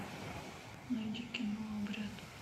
найди кино обряд